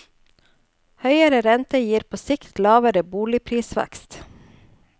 Høyere rente gir på sikt lavere boligprisvekst.